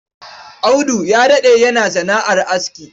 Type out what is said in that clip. Audu ya daɗe yana sana'ar aski.